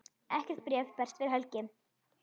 Ekkert bréf berst fyrir helgi.